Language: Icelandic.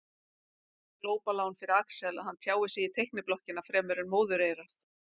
Glópalán fyrir Axel að hann tjáir sig í teikniblokkina fremur en móðureyrað.